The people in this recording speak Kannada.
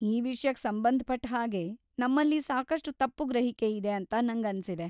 ಈ ವಿಷ್ಯಕ್ ಸಂಬಂಧಪಟ್ಟ್‌ ಹಾಗೆ ನಮ್ಮಲ್ಲಿ ಸಾಕಷ್ಟು ತಪ್ಪು ಗ್ರಹಿಕೆ ಇದೆ ಅಂತ ನಂಗನ್ಸಿದೆ.